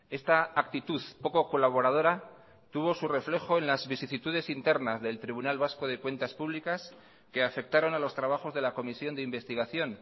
esta actitud poco colaboradora tuvo su reflejo en las vicisitudes internas del tribunal vasco de cuentas públicas que afectaron a los trabajos de la comisión de investigación